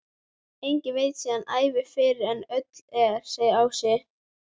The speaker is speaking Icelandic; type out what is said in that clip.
Enginn veit sína ævina fyrr en öll er, segir Ási.